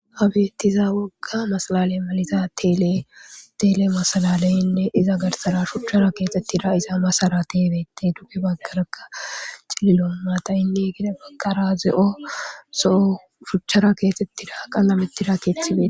Abiyettiza wogga masalale maliza teletele masalaleynne iza garsara shuchara keexettira iza masara tiebeti duge baggaraka cililo maatayinne gede baggara ze'o soo shuchchara keexxettira qanna mettira keethibee